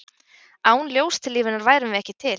Án ljóstillífunar værum við ekki til.